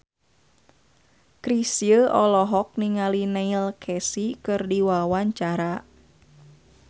Chrisye olohok ningali Neil Casey keur diwawancara